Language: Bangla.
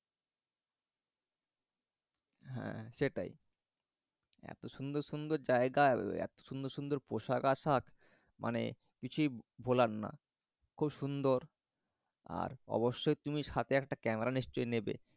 হ্যাঁ সেটাই। এত সুন্দর সুন্দর জায়গা সুন্দর সুন্দর পোশাক আশাক মানে কিছুই ভোলার না। খুব সুন্দর। আর অবশ্যই তুমি সাথে একটা ক্যামেরা নিশ্চই নেবে।